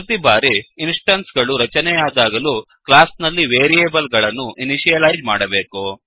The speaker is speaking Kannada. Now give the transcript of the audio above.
ಪ್ರತಿ ಬಾರಿ ಇನ್ಸ್ ಟೆನ್ಸ್ ಗಳು ರಚನೆಯಾದಾಗಲೂ ಕ್ಲಾಸ್ ನಲ್ಲಿ ವೇರಿಯೇಬಲ್ ಗಳನ್ನು ಇನಿಷಿಯಲೈಜ್ ಮಾಡಬೇಕು